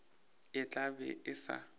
e tla be e sa